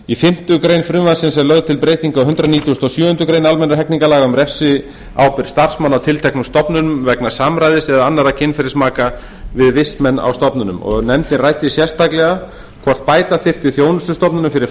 í fimmtu grein frumvarpsins er lögð til breyting á ákvæði hundrað nítugasta og sjöundu grein almennra hegningarlaga um refsiábyrgð starfsmanna á tilteknum stofnunum vegna samræðis eða annarra kynferðismaka við vistmenn á stofnununum nefndin ræddi sérstaklega hvort bæta þyrfti þjónustustofnunum fyrir